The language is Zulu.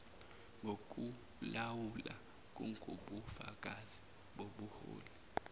ngokulawula kungubufakazi bobuholi